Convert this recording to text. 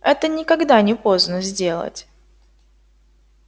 это никогда не поздно сделать